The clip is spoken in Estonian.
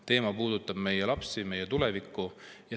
Teema puudutab meie lapsi, meie tulevikku.